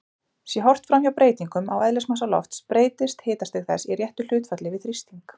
Sé horft framhjá breytingum á eðlismassa lofts breytist hitastig þess í réttu hlutfalli við þrýsting.